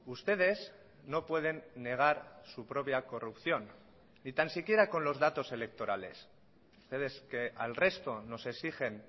ustedes no pueden negar su propia corrupción ni tan siquiera con los datos electorales ustedes que al resto nos exigen